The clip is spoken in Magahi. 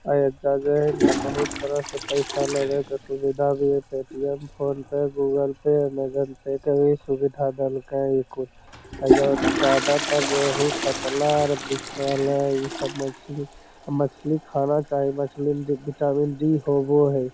ए है ने बहुत तरह से पैसा लवे के सुविधा भी हेय Paytm phone pay Google pay Amazon pay के भी सुविधा देल के हिको एजा ज्यादातर रेहूं कतला आर दिख रहले इ सब मछली मछली खाना चाही मछली में विटामिन डी होवो ह।